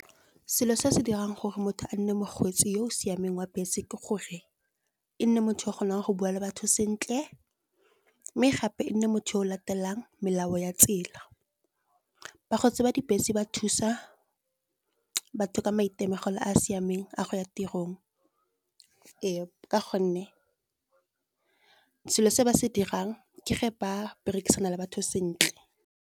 Selo se se dirang gore motho a nne mokgweetsi yo o siameng wa bese ke gore, e nne motho o kgonang go bua le batho sentle. Mme gape e nne motho yo o latelang melao ya tsela, bakgweetsi ba di bese ba thusa batho ka maitemogelo a a siameng a go ya tirong. Ee, ka gonne selo se ba se dirang ke ge ba berekisana le batho sentle.